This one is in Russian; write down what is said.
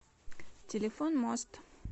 телефон мост